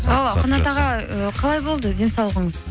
қанат аға ы қалай болды денсаулығыңыз